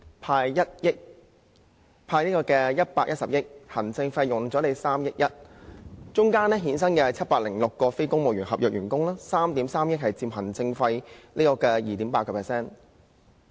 當中涉及"派錢 "110 億元、行政費3億 1,000 萬元，衍生706名非公務員合約職位，行政費佔總額 2.8%。